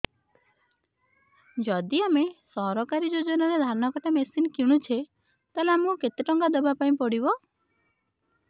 ଯଦି ଆମେ ସରକାରୀ ଯୋଜନାରେ ଧାନ କଟା ମେସିନ୍ କିଣୁଛେ ତାହାଲେ ଆମକୁ କେତେ ଟଙ୍କା ଦବାପାଇଁ ପଡିବ